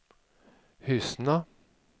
Hyssna